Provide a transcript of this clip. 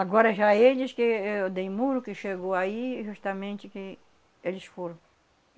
Agora já eles, que eu dei muro, que chegou aí, justamente que eles foram.